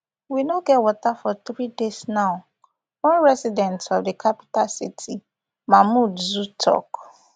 we no get water for three days now one resident of di capital city mamoudzou tok